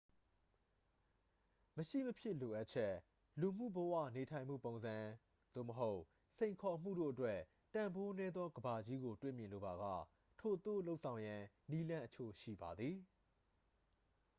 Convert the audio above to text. မရှိမဖြစ်လိုအပ်ချက် လူမှု့ဘဝနေထိုင်မှုပုံစံ သို့မဟုတ် စိန်ခေါ်မှုတို့အတွက် တန်ဖိုးနည်းသောကမ္ဘာကြီးကိုတွေ့မြင်လိုပါက ထိုသို့လုပ်ဆောင်ရန် နည်းလမ်းအချို့ရှိပါသည်